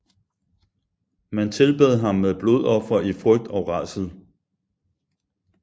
Man tilbad ham med blodofre i frygt og rædsel